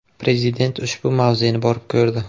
Prezident ushbu mavzeni borib ko‘rdi.